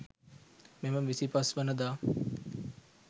මෙම 25 වන දා